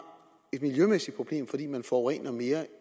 et miljømæssigt problem fordi man forurener mere